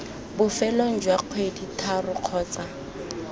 bofelong jwa kgwedi tharo kgotsa